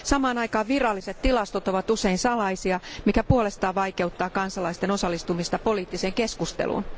Samaan aikaan viralliset tilastot ovat usein salaisia, mikä puolestaan vaikeuttaa kansalaisten osallistumista poliittiseen keskusteluun.